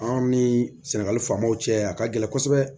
Anw ni sɛnɛgali faamaw cɛ a ka gɛlɛn kosɛbɛ